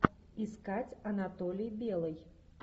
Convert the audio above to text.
искать анатолий белый